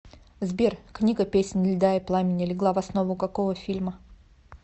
сбер книга песнь льда и пламени легла в основу какого фильма